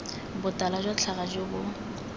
botala jwa tlhaga jo bo